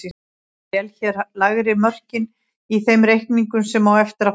Ég vel hér lægri mörkin í þeim reikningum sem á eftir fara.